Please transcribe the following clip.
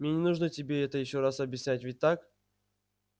мне не нужно тебе это ещё раз объяснять ведь так